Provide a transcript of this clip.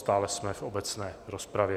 Stále jsme v obecné rozpravě.